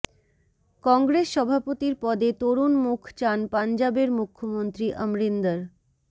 কংগ্রেস সভাপতির পদে তরুণ মুখ চান পাঞ্জাবের মুখ্যমন্ত্রী অমরিন্দর